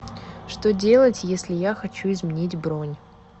что делать если я хочу изменить бронь